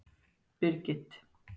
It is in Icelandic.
Birgit